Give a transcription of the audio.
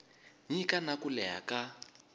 nyika na ku leha ka